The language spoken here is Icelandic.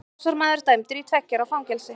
Árásarmaður dæmdur í tveggja ára fangelsi